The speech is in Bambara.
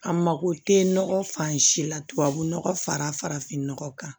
A mako tɛ nɔgɔ fan si la tubabunɔgɔ fara fara farafinnɔgɔ kan